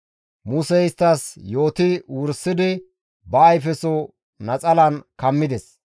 Musey isttas yooti wursidi ba ayfeso naxalan kammides.